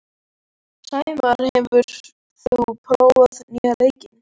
Sæmar, hefur þú prófað nýja leikinn?